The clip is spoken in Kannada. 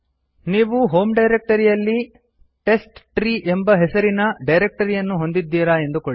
ನೀವು ಹೋಮ್ ಡೈರಕ್ಟರಿಯಲ್ಲಿ ಟೆಸ್ಟ್ಟ್ರೀ ಎಂಬ ಹೆಸರಿನ ಡೈರಕ್ತರಿಯನ್ನಿ ಹೊಂದಿದ್ದೀರಾ ಎಂದುಕೊಳ್ಳಿ